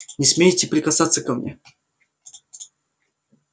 не смейте прикасаться ко мне